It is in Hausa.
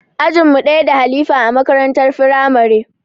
Ajin mu ɗaya da halifa a makarantar firamare